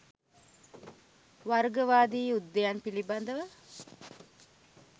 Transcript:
වර්ගවාදී යුද්ධයන් පිළිබඳව